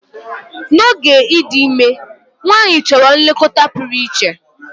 N'oge ịdị ime, nwanyị chọrọ nlekọta pụrụ iche.